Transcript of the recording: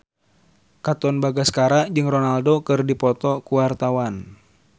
Katon Bagaskara jeung Ronaldo keur dipoto ku wartawan